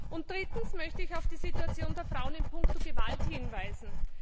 Und drittens möchte ich auf die Situation der Frauen in puncto Gewalt hinweisen.